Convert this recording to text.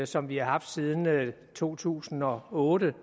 som vi har haft siden to tusind og otte